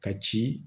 Ka ci